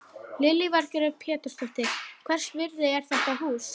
Lillý Valgerður Pétursdóttir: Hvers virði er þetta hús?